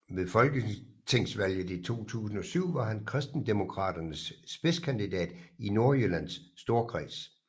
Ved folketingsvalget i 2007 var han Kristendemokraternes spidskandidat i Nordjyllands Storkreds